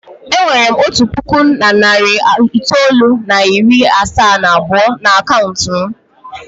E nwere m otu puku na narị itoolu na iri asaa na abụọ n'akaụntụ m.